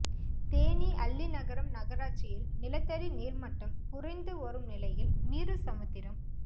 தேனி அல்லிநகரம் நகராட்சியில் நிலத்தடி நீர்மட்டம் குறைந்து வரும் நிலையில் மீறுசமுத்திரம்